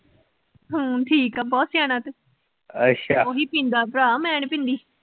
ਹਮ ਠੀਕ ਆ ਬਹੁਤ ਸਿਆਣਾ ਤੂੰ, ਅੱਛਾ, ਉਹੀ ਪੀਂਦਾ ਭਰਾ ਮੈਂ ਨੀ ਪੀਂਦੀ।